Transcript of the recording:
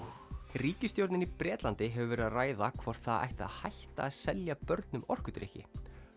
ríkisstjórnin í Bretlandi hefur verið að ræða hvort það ætti að hætta að selja börnum orkudrykki